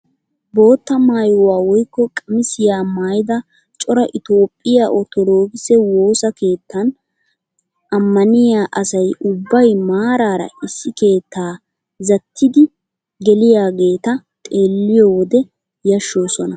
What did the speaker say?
Bootta maayuwaa woykko qamisiyaa maayida cora itoophphiyaa orttodokise woossa keettan ammaniyaa asay ubbay maarara issi keettaa zattidi geliyaageta xeelliyoo wode yashshoosona!